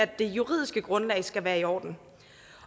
det juridiske grundlag skal være i orden